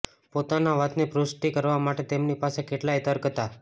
પોતાના વાતની પુષ્ટિ કરવા માટે તેમની પાસે કેટલાયે તર્ક હતાં